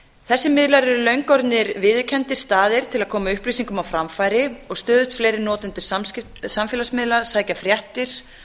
þessir miðlar eru löngu orðnir viðurkenndir staðir til að koma upplýsingum á framfæri og stöðugt fleiri notendur samfélagsmiðla sækja fréttir